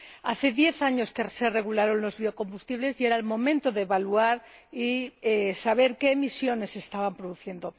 Hace diez años que se regularon los biocombustibles, y era el momento de evaluar y saber qué emisiones se estaban produciendo.